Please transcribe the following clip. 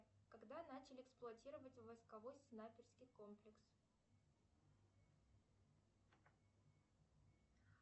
когда начали эксплуатировать войсковой снайперский комплекс